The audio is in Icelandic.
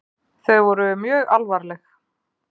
Þau voru mjög alvarleg.